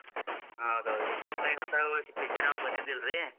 ಹೌದೌದ್ರಿ ಇತ್ತಿತ್ಲಾಗ್ ಹಂತಾವ ಯಾವ್ picture ಬಂದಿದಿಲ್ರಿ.